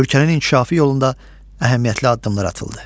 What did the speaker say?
Ölkənin inkişafı yolunda əhəmiyyətli addımlar atıldı.